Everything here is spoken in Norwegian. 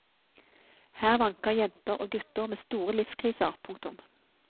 Her vanker jenter og gutter med store livskriser. punktum